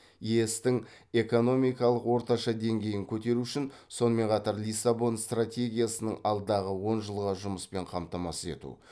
ес тің экономикалық орташа деңгейін көтеру үшін сонымен қатар лиссабон стратегиясының алдағы он жылға жұмыспен қамтамасыз ету